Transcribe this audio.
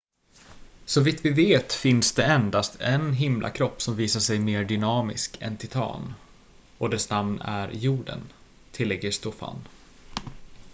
så vitt vi vet finns det endast en himlakropp som visar sig mer dynamisk än titan och dess namn är jorden tillägger stofan